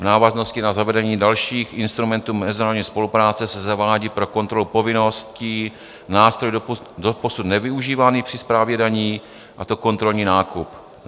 V návaznosti na zavedení dalších instrumentů mezinárodní spolupráce se zavádí pro kontrolu povinností nástroj doposud nevyužívaný při správě daní, a to kontrolní nákup.